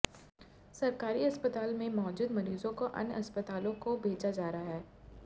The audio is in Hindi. सरकारी अस्पताल में मौजूद मरीजों को अन्य अस्पतालों को भेजा जा रहा है